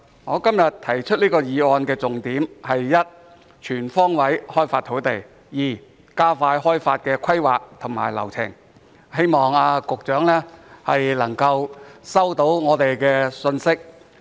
我今天提出這項議案的重點，第一是全方位開發土地，第二是加快開發的規劃和流程，希望局長可以收到我們的信息。